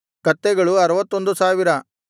ಕತ್ತೆಗಳು 61000